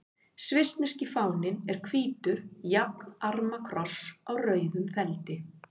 Svissneski fáninn er hvítur jafnarma kross á rauðum feldi.